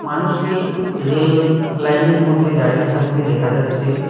মানুষকে রেল লাইনের মধ্যে দাঁড়িয়ে থাকতে দেখা যাচ্ছে।